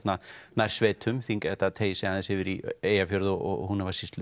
nærsveitum þetta teygir sig aðeins yfir í Eyjafjörð og Húnavatnssýslur